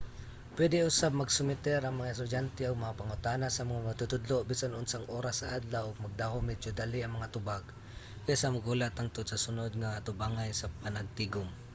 pwede usab magsumiter ang mga estudyante og mga pangutana sa mga magtutudlo bisan unsang oras sa adlaw ug magdahom medyo dali nga mga tubag kaysa maghulat hangtod sa sunod nga atubangay nga panagtigom